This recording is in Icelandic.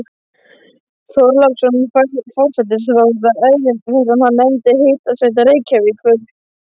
Þorláksson forsætisráðherra erindi sem hann nefndi Hitaveita Reykjavíkur.